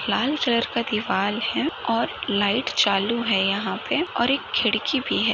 लाल colour का दीवाल है और लाइट चालू है यहाँ पे और एक खिड़की भी है।